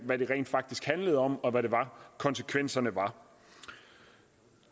hvad det rent faktisk handlede om og hvad konsekvenserne